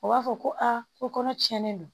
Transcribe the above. O b'a fɔ ko a ko kɔnɔ tiɲɛnen don